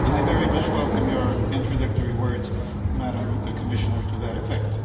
I very much welcome your introductory words Commissioner to that effect.